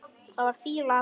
Það var fýla af honum.